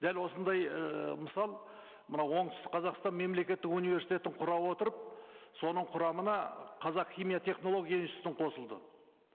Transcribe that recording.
дәл осындай ыыы мысал мына оңтүстік қазақстан мемлекеттік университетін құра отырып соның құрамына қазақ химия технология институты қосылды